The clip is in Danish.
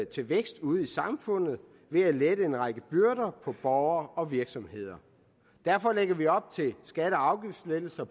til vækst ude i samfundet ved at lette en række byrder på borgere og virksomheder derfor lægger vi op til skatte og afgiftslettelser